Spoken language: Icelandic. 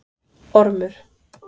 Ormur